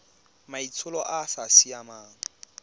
maitsholo a a sa siamang